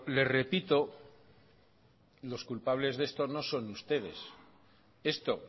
le repito los culpables de esto no son ustedes esto